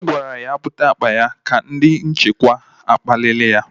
O gwara ya bute akpa ya ka ndị nchekwa akpa lele ya!